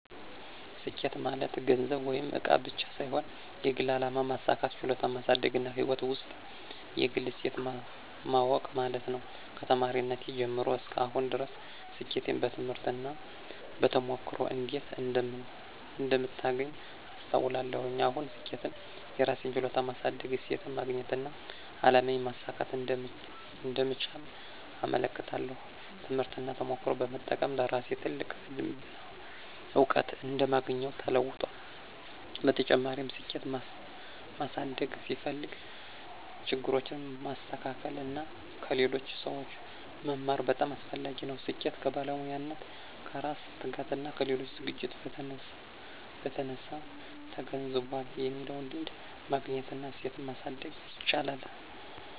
ስኬት ማለት ገንዘብ ወይም እቃ ብቻ ሳይሆን የግል አላማ ማሳካት፣ ችሎታን ማሳደግና ሕይወት ውስጥ የግል እሴት ማወቅ ማለት ነው። ከተማሪነቴ ጀምሮ እስከ አሁን ድረስ ስኬትን በትምህርት እና በተሞክሮ እንዴት እንደምታገኝ አስተውላለሁ። አሁን ስኬትን የራሴን ችሎታ ማሳደግ፣ እሴትን ማግኘትና አላማዬን ማሳካት እንደምቻል እመለከታለሁ። ትምህርትና ተሞክሮ በመጠቀም ለራሴ ትልቅ ልምድና እውቀት እንደማግኘው ተለውጧል። በተጨማሪም፣ ስኬት ማሳደግ ሲፈልግ ችግሮችን ማስተካከል እና ከሌሎች ሰዎች መማር በጣም አስፈላጊ ነው። ስኬት ከባለሙያነት፣ ከራስ ትጋትና ከሌሎች ዝግጅት በተነሳ ተገንዝቧል የሚለውን ልምድ ማግኘት እና እሴትን ማሳደግ ይቻላል።